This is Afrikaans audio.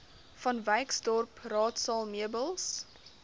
vanwyksdorp raadsaal meubels